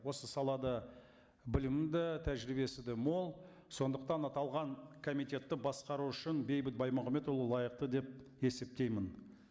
осы салада білімі де тәжірибесі де мол сондықтан аталған комитетті басқару үшін бейбіт баймағамбетұлы лайықты деп есептеймін